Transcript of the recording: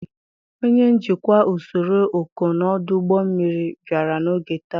Onye njikwa usoro ọkọnọ ọdụ ụgbọ mmiri bịara n'oge taa.